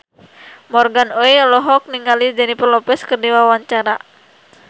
Morgan Oey olohok ningali Jennifer Lopez keur diwawancara